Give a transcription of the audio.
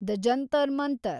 the Jantar Mantar